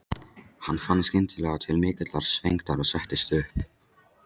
Hann fann skyndilega til mikillar svengdar og settist upp.